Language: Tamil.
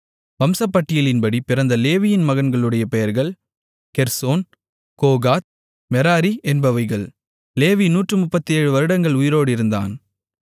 வம்சப்பட்டியலின்படி பிறந்த லேவியின் மகன்களுடைய பெயர்கள் கெர்சோன் கோகாத் மெராரி என்பவைகள் லேவி நூற்றுமுப்பத்தேழு வருடங்கள் உயிரோடு இருந்தான்